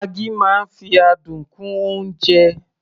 maggi máa ń fi adùn kún oúnjẹ